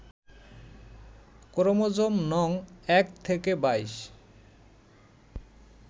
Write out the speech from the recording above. chromosome নং ১ থেকে ২২